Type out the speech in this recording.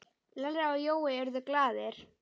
Lalli og Jói urðu glaðir.